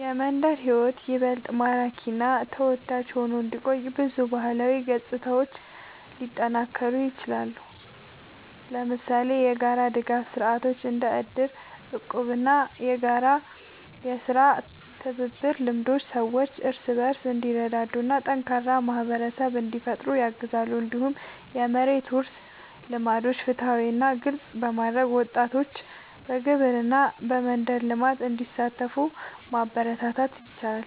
የመንደር ሕይወት ይበልጥ ማራኪ እና ተወዳጅ ሆኖ እንዲቆይ ብዙ ባህላዊ ገጽታዎች ሊጠናከሩ ይችላሉ። ለምሳሌ የጋራ ድጋፍ ስርዓቶች እንደ እድር፣ እቁብ እና የጋራ የሥራ ትብብር ልምዶች ሰዎች እርስ በርስ እንዲረዳዱ እና ጠንካራ ማህበረሰብ እንዲፈጠር ያግዛሉ። እንዲሁም የመሬት ውርስ ልምዶችን ፍትሃዊ እና ግልጽ በማድረግ ወጣቶች በግብርና እና በመንደር ልማት እንዲሳተፉ ማበረታታት ይቻላል።